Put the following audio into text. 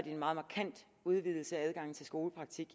en meget markant udvidelse af adgangen til skolepraktik